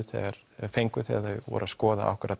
fengu þegar þau voru að skoða